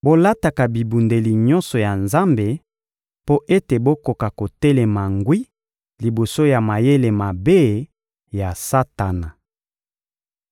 Bolataka bibundeli nyonso ya Nzambe mpo ete bokoka kotelema ngwi liboso ya mayele mabe ya Satana.